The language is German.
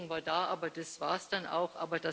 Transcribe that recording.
Wertschätzung war da, aber das war es dann auch.